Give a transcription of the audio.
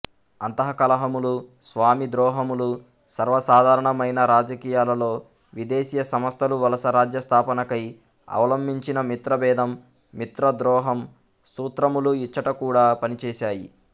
అంతః కలహములు స్వామిద్రోహములు సర్వసాధారణమైన రాజకీయాలలో విదేశీయ సంస్ధలు వలసరాజ్యస్థాపనకై అవలంబించిన మిత్రభేదము మిత్రద్రోహము సూత్రములు ఇచ్చటకూడా పనిచేశాయి